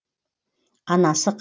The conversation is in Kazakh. анасы қасында